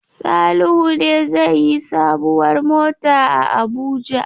Salihu ne zai yi sabuwar mota a Abuja?